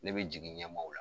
Ne be jigin ɲɛmaw la